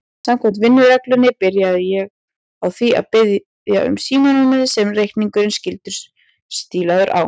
Samkvæmt vinnureglunni byrjaði ég á því að biðja um símanúmerið sem reikningurinn skyldi stílaður á.